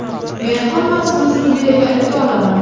Men hammasini sudyaga ayta olaman.